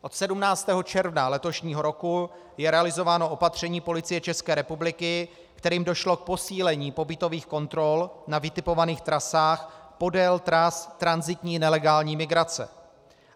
Od 17. června letošního roku je realizováno opatření Policie České republiky, kterým došlo k posílení pobytových kontrol na vytipovaných trasách podél tras tranzitní nelegální migrace.